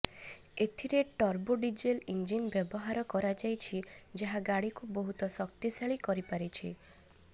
ଏଥିରେ turbo diesel engine ବ୍ୟବହାର କରାଯାଇଛି ଯାହା ଗାଡ଼ିକୁ ବହୁତ ଶକ୍ତିଶାଳୀ କରିପାରିଛି